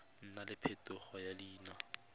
nna le phetogo ya leina